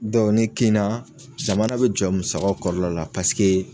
Dɔn nin kina zamana be jɔ musakaw kɔrɔla paseke